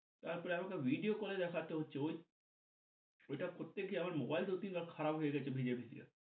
তার পরে আমাকে video call এ দেখাতে হচ্ছে ঐটা করতে গিয়া আমার মোবাইল দুই তিন বার খারাপ হয়ে গেছে ভিজে ভিজে